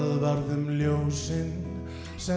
varð um ljósin sem